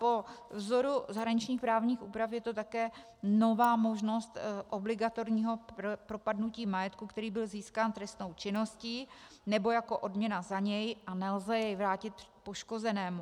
Po vzoru zahraničních právních úprav je to také nová možnost obligatorního propadnutí majetku, který byl získán trestnou činností nebo jako odměna za něj, a nelze jej vrátit poškozenému.